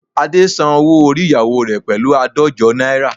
Ade san owó orí ìyáwo rẹ̀ pẹ̀lú àádọ́jọ náírà